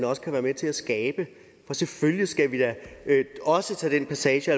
også kan være med til at skabe og selvfølgelig skal vi da også tage den passage